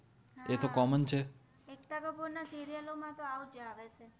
એક્તા કપૂર ના સિરિઅલો મા તો આવુજ આવે છે